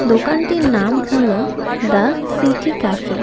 দোকানটির নাম হলো দ্য সিটি ক্যাফে .